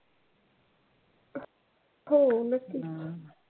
हो नक्कीच.